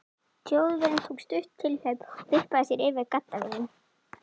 Þjóðverjinn tók stutt tilhlaup og vippaði sér yfir gaddavírinn.